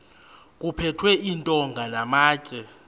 kuphethwe iintonga namatye